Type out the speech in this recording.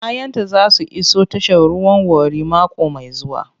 Kayanta za su iso tashar ruwan Warri mako mai zuwa.